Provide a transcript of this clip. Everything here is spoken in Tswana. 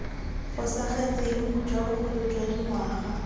fosagetseng jwa bogolo jwa dingwaga